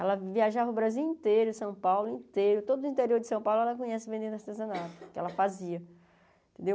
Ela viajava o Brasil inteiro, São Paulo inteiro, todo o interior de São Paulo ela conhece vendendo artesanato, que ela fazia.